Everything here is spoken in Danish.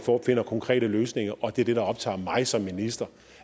finder konkrete løsninger det der optager mig som minister